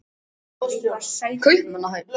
Kaupmannahöfn